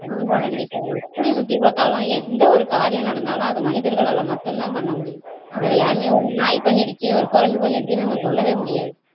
கண்டிப்பா கண்டிப்பா எப்படி சுத்தி பாத்தாலும் எந்த ஒரு காரியம் நடந்தாலும் அது மனிதர்களால மட்டுந்தான் பண்ண முடியும் வேற யாரும் ஒரு நாய் பண்ணிருச்சு ஒரு குரங்கு பண்ணிருச்சுன்னு நம்ம சொல்லவே முடியாது